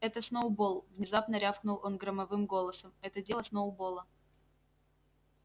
это сноуболл внезапно рявкнул он громовым голосом это дело сноуболла